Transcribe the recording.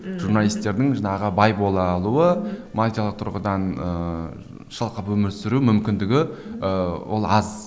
ммм мхм журналистердің жаңағы бай бола алуы тұрғыдан ыыы шалқып өмір сүру мүмкіндігі ііі ол аз